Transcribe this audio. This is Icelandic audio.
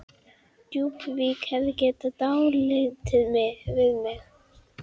Djúpuvík hefði gert dálítið við mig.